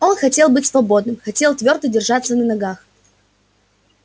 он хотел быть свободным хотел твёрдо держаться на ногах